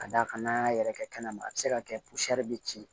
Ka d'a kan n'an y'a yɛrɛkɛ kɛnɛma a bɛ se ka kɛ bɛ ci